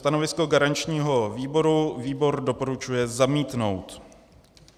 Stanovisko garančního výboru - výbor doporučuje zamítnout.